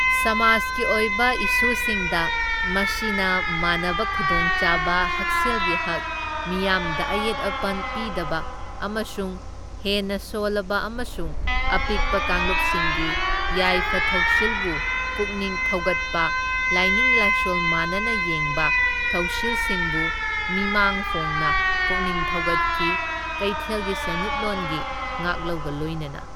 ꯁꯃꯥꯖꯀꯤ ꯑꯣꯏꯕ ꯏꯁꯨꯁꯤꯡꯗ, ꯃꯁꯤꯅ ꯃꯥꯟꯅꯕ ꯈꯨꯗꯣꯡꯆꯥꯕ ꯍꯛꯁꯦꯜꯒꯤ ꯍꯛ, ꯃꯤꯌꯥꯝꯗ ꯑꯌꯦꯠ ꯑꯄꯟ ꯄꯤꯗꯕ, ꯑꯃꯁꯨꯡ ꯍꯦꯟꯅ ꯁꯣꯜꯂꯕ ꯑꯃꯁꯨꯡ ꯑꯄꯤꯛꯄ ꯀꯥꯡꯂꯨꯞꯁꯤꯡꯒꯤ ꯌꯥꯏꯐ ꯊꯧꯁꯤꯜꯕꯨ ꯄꯨꯛꯅꯤꯡ ꯊꯧꯒꯠꯄ ꯂꯥꯏꯅꯤꯡ ꯂꯥꯏꯁꯣꯜ ꯃꯥꯟꯅꯅ ꯌꯦꯡꯕ ꯊꯧꯁꯤꯜꯁꯤꯡꯕꯨ ꯃꯤꯃꯥꯡ ꯐꯣꯡꯅ ꯄꯨꯛꯅꯤꯡ ꯊꯧꯒꯠꯈꯤ, ꯀꯩꯊꯦꯜꯒꯤ ꯁꯦꯟꯃꯤꯠꯂꯣꯟꯒꯤ ꯉꯥꯛꯂꯧꯒ ꯂꯣꯏꯅꯅ꯫